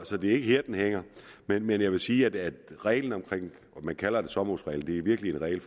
så det er ikke her den hænger men men jeg vil sige at reglen som man kalder sommerhusreglen i virkeligheden er en